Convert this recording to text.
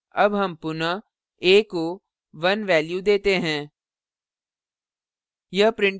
अब हम पुनः a को 1 value देते हैं